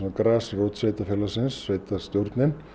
grasrót sveitarfélagsins sveitarstjórnin